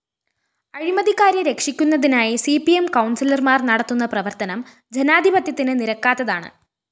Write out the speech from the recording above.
അഴിമതിക്കാരെ രക്ഷിക്കുന്നതിനായി C P M കൗണ്‍സിലര്‍മാര്‍ നടത്തുന്ന പ്രവര്‍ത്തനം ജനാധിപത്യത്തിന് നിരക്കാത്തതാണ്